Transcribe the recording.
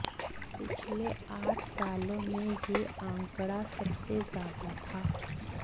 पिछले आठ सालों में यह आंकड़ा सबसे ज्यादा था